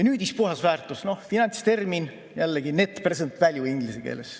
Nüüdispuhasväärtus – finantstermin jällegi, net present value inglise keeles.